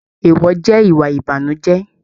Eewọ jẹ ìwà ìbànújẹ.